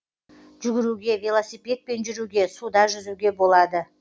жүгіруге велосипедпен жүруге суда жүзуге болады